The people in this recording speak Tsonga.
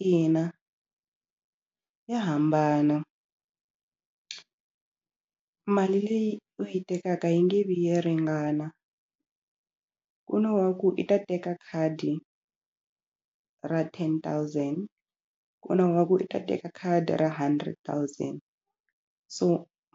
Ina ya hambana mali leyi u yi tekaka yi nge vi yi ringana ku na wa ku i ta teka khadi ra ten thousand ku na wa ku i ta teka khadi ra hundred thousand so